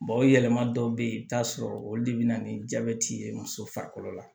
o yɛlɛma dɔw be yen i bi taa sɔrɔ olu de be na ni jabɛti ye muso farikolo la